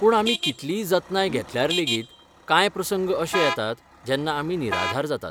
पूण आमी कितलीय जतनाय घेतल्यार लेगीत, कांय प्रसंग अशे येतात जेन्ना आमी निराधार जातात.